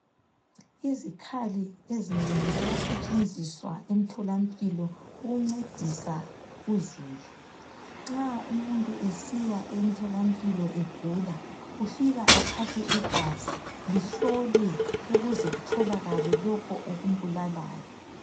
Izikhali ezinengi siyasetshenziswa emtholampilo ukuncedisa uzulu. Nxa umuntu esiya emtholampilo egula ufika athathwe igazi lihlolwe ukuze kutholakale lokho okumbulalayo.